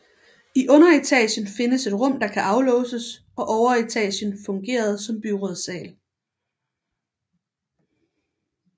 I underetagen findes et rum der kan aflåses og overetagen fungerede som byrådssal